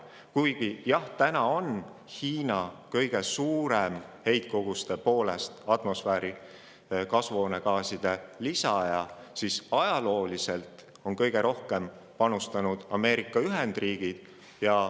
Kuigi, jah, täna on Hiina kõige suurem inimtekkelise süsihappegaasi atmosfääri heitja, aga on kõige rohkem panustanud Ameerika Ühendriigid.